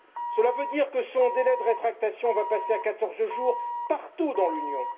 Cela veut dire que le délai de rétractation du consommateur va passer à 14 jours partout dans l'Union.